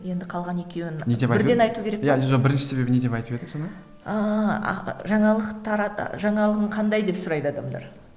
енді қалған екеуін бірінші себебін не деп айтып едік жаңа ыыы жаңалық жаңалығың қандай деп сұрайды адамдар